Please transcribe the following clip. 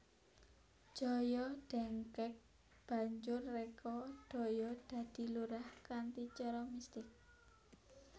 Joyo dengkek banjur reka daya dadi lurah kanthi cara mistik